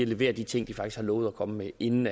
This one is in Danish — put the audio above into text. levere de ting de faktisk har lovet at komme med inden